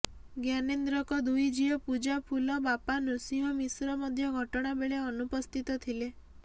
ଜ୍ଞାନେନ୍ଦ୍ରଙ୍କ ଦୁଇ ଝିଅ ପୂଜା ଫୁଲ ବାପା ନୃସିଂହ ମିଶ୍ର ମିଶ୍ର ମଧ୍ୟ ଘଟଣା ବେଳେ ଅନୁପସ୍ଥିତ ଥିଲେ